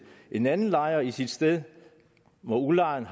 en anden lejer i sit sted hvor udlejeren